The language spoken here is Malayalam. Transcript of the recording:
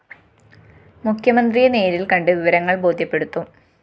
മുഖ്യമന്ത്രിയെ നേരില്‍കണ്ട് വിവരങ്ങള്‍ ബോദ്ധ്യപ്പെടുത്തും